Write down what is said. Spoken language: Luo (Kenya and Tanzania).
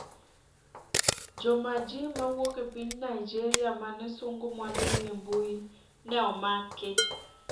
Jomaji ' mawuok e piny Naijeria mane sungo mwandugi e mbui ne omaki